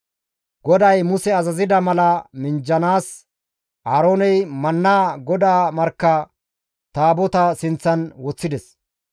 GODAY Muse azazida mala minjjanaas, Aarooney mannaa GODAA markka Taabotaa sinththan woththides.